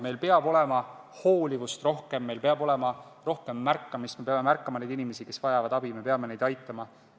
Meil peab olema rohkem hoolivust, meil peab olema rohkem märkamist, me peame märkama inimesi, kes vajavad abi, ja me peame neid aitama.